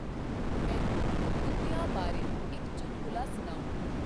ਮੈਨੂੰ ਕੁੱਤਿਆਂ ਬਾਰੇ ਇੱਕ ਚੁਟਕਲਾ ਸੁਣਾਓ।